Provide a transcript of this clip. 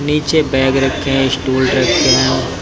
नीचे बैग रखे हैं स्टूल रखे हैं।